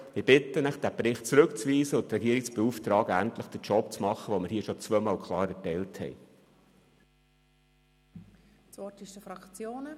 Ich bitte Sie, diesen Bericht zurückzuweisen und die Regierung zu beauftragen, ihren Job zu erledigen, wozu wir hier den Auftrag bereits zweimal klar erteilt hatten.